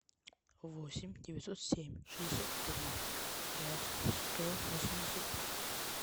восемь девятьсот семь шестьдесят три пять сто восемьдесят пять